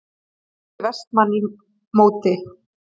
spurði Vestmann í móti.